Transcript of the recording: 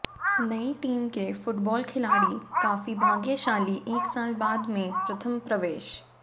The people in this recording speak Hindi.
नई टीम के फुटबॉल खिलाड़ी काफी भाग्यशाली एक साल बाद में प्रथम प्रवेश